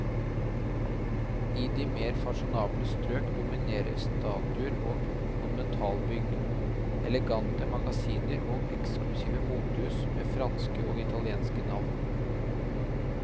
I de mer fasjonable strøk dominerer statuer og monumentalbygg, elegante magasiner og eksklusive motehus med franske og italienske navn.